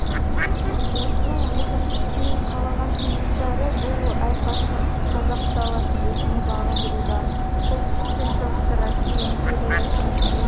осының екіншісін қалаған кенесары бұл айқасты қазақ даласын өзіне бағындыруда солтүстік пен шығыстағы россия империясының ең